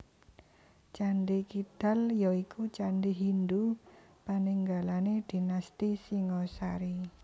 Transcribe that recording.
Candhi Kidal ya iku candhi Hindhu paninggalané dinasti Singasari